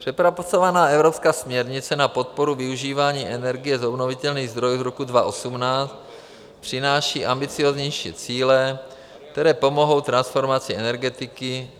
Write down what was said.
Přepracovaná evropská směrnice na podporu využívání energie z obnovitelných zdrojů z roce 2018 přináší ambicióznější cíle, které pomohou transformaci energetiky.